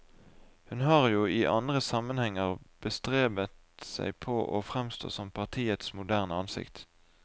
Hun har jo i andre sammenhenger bestrebet seg på å fremstå som partiets moderne ansikt.